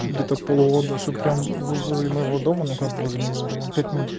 где-то полгода что прям возле моего дома но как возле моего дома пять минут